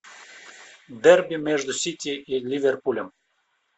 дерби между сити и ливерпулем